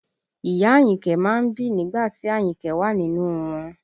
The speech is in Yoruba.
Ìyá Àyìnkẹ́ má ń bì nígbà tí Àyìnkẹ́ wà nínú wọn